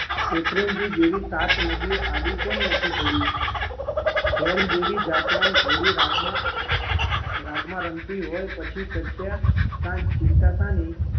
શેત્રુંજી જેવી સાત નદીઓ આડી કેમ નથી પડી? ઢેલ જેવી જાતવાન ઘોડી રાગમાં રાગમાં રમતી હોય પછી ચંત્યા શા ચિંતા શાની